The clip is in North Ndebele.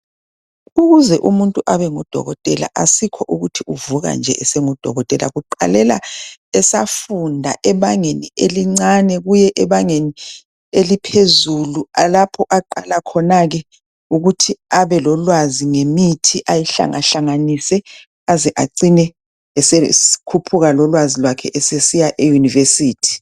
Ukuze umuntu abe nguDokotela asikho ukuthi uvuka nje esenguDokotela , kuqalela esafunda ebangeni elincane kuye ebangeni eliphezulu, lapho aqala khona ke ukuthi abelolwazi ngemithi ayihlangahlanganise acine esekhuphuka lolwazi lwakhe esesiya eYunivesithi.